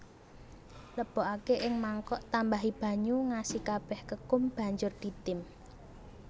Lebokake ing mangkok tambahi banyu ngasi kabeh kekum banjur ditim